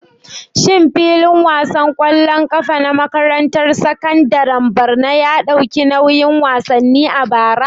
Shin filin wasan ƙwallon ƙafa na makarantar sakandaren Borno ya ɗauki nauyin wasanni a bara?